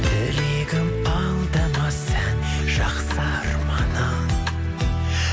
тілегім алдамас ән жақсы арманым